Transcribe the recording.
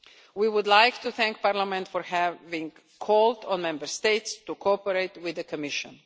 We would like to thank Parliament for having called on Member States to cooperate with the Commission.